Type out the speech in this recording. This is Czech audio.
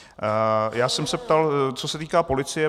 Já jsem se ptal, co se týká policie.